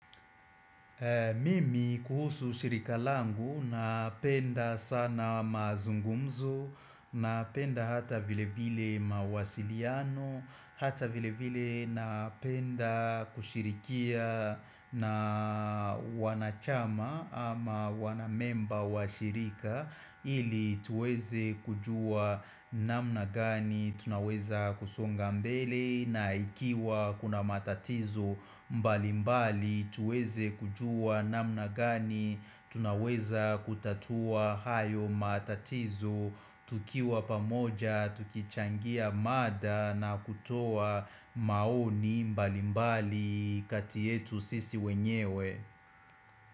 Mimi kuhusu shirika langu, napenda sana mazungumzo, napenda hata vile vile mawasiliano, hata vile vile napenda kushirikia na wanachama ama wanamemba wa shirika ili tuweze kujua namna gani tunaweza kusonga mbele na ikiwa kuna matatizo mbali mbali tuweze kujua namna gani tunaweza kutatua hayo matatizo tukiwa pamoja, tukichangia mada na kutoa maoni mbali mbali kati yetu sisi wenyewe.